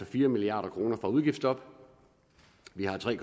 fire milliard kroner fra udgiftsstoppet vi har tre